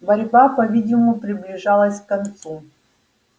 борьба по видимому приближалась к концу